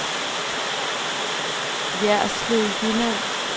Jerslev Jylland